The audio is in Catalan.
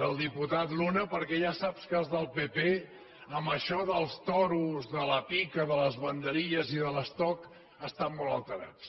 del diputat luna pp en això dels toros de la pica de les banderilles i de l’estoc estan molt alterats